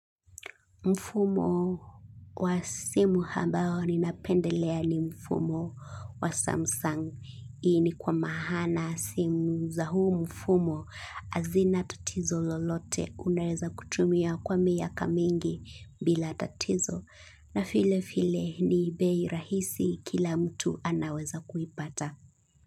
Mfumo wa simu ambao ninapendelea ni mfumo wa Samsung. Hii ni kwa maana simu za huu mfumo hazina tatizo lolote unaeza kutumia kwa miaka mingi bila tatizo. Na vile vile ni bei rahisi kila mtu anaweza kuipata.